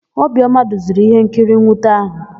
Obiọma duziri íhénkiri nnwute áhụ̀.